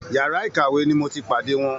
Yàrá ìkàwé ni mo ti pàdé wọn